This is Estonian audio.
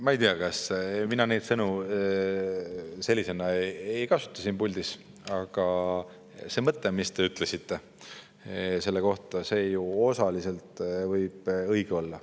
Ma ei tea, mina neid sõnu sellisena ei kasuta siin puldis, aga see mõte, mis te ütlesite selle kohta, võib ju osaliselt õige olla.